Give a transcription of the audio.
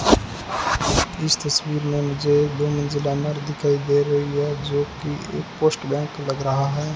इस तस्वीर मे मुझे एक दिखाई दे रही है जोकि एक पोस्ट बैंक लग रहा है।